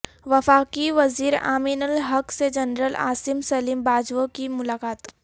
وفاقی وزیرامین الحق سے جنرل عاصم سلیم باجوہ کی ملاقات